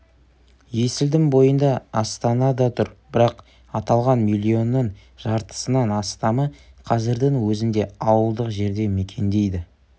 есілдің бойында астана да тұр бірақ аталған миллионның жартысынан астамы қазірдің өзінде ауылдық жерде мекендейді